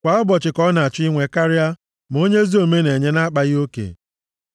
Kwa ụbọchị ka ọ na-achọ inwe karịa, ma onye ezi omume na-enye na-akpaghị oke.